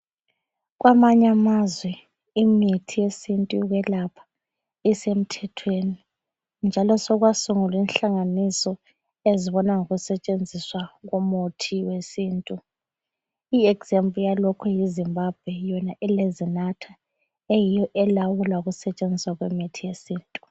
Kwamanyamazwe imithi yesintu eyokwelapha isemthethweni njalo sokwasungulwa inhlanganiso ezibona ngokusetshenziswa komuthi wesintu, iexample yalokhu yiZimbabwe yona ele ZINATA eyiyo elawula ukusetshenziswa kwemithi yesintu.